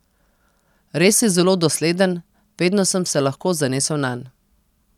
Res je zelo dosleden, vedno sem se lahko zanesel nanj.